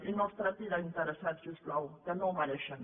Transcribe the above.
i no els tracti d’interessats si us plau que no ho mereixen